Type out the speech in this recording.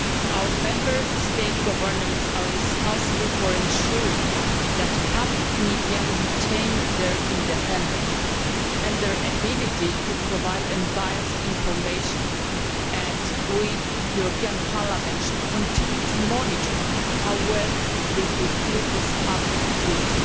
Our Member State governments are responsible for ensuring that public media retain their independence and their ability to provide unbiased information, and we, the European Parliament, should continue to monitor how well they fulfil this public duty.